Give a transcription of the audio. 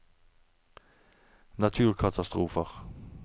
naturkatastrofer